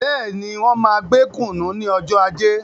Bẹ́ẹ̀ni, máa gbé kùnú ní ọjọ ajé